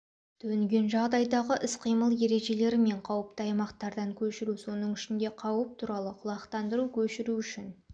төнген жағдайдағы іс-қимыл ережелері мен қауіпті аймақтардан көшіру соның ішінде қауіп туралы құлақтандыру көшіру үшін